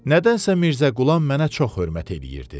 Nədənsə Mirzəqulam mənə çox hörmət eləyirdi.